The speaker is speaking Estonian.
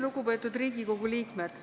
Lugupeetud Riigikogu liikmed!